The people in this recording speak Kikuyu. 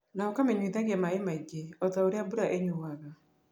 Na ũkamũnyuithagia maaĩ maingĩ o ta ũrĩa mbura ĩnyuuaga.